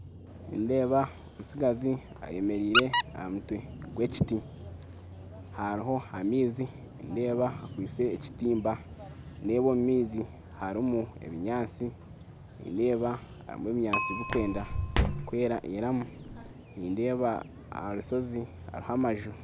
Nindeeba omutsigazi ayemeraire aha mutwe gw'ekiti hariho amaizi nindeeba akwitse ekitimba. Nindeeba omu maizi harimu ebinyaatsi bikwenda kwerayeramu nindeeba Aha rushozi hariho amaju